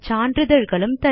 மேலும் அறிய மெயில் எழுதவும்